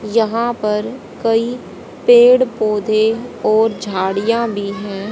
यहां पर कई पेड़ पौधे और झाड़ियां भी हैं।